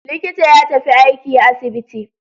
Likita ya tafi aiki asibiti.